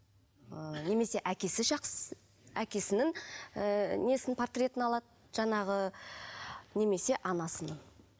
ыыы немесе әкесі жақсы әкесінің ыыы несін портретін алады жаңағы немесе анасының